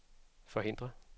forhindre